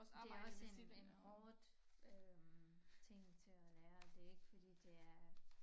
Det også en en hårdt øh ting til at lære det ikke fordi det er